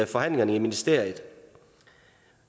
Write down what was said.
forhandlingerne i ministeriet